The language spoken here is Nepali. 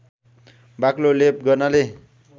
बाक्लो लेप गर्नाले